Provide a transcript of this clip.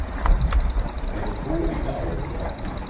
Hefur þú engar áhyggjur af því?